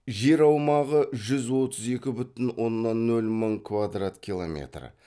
жер аумағы жүз отыз екі бүтін оннан нөл мың квадрат километр